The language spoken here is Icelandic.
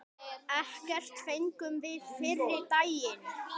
Ekkert fengum við fyrri daginn.